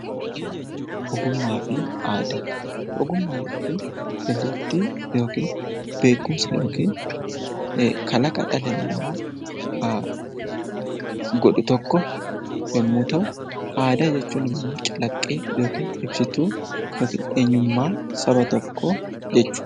Ogummaa fi aadaa Ogummaa jechuun dandeettii yookaan beekumsa yookiin kalaqa dhalli namaa godhu tokko aadaa jechuun immoo calaqqee yookaan ibsituu eenyummaa saba tokkoo jechuudha.